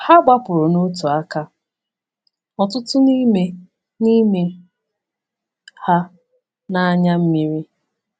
Ha gbapụrụ na otu aka, ọtụtụ n’ime n’ime ha na anya mmiri.